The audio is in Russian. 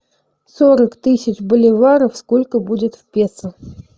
сорок тысяч боливаров сколько будет в песо